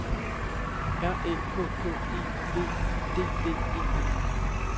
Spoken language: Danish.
R Æ K K E V I D D E N